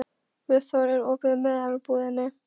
Guðþór, er opið í Melabúðinni?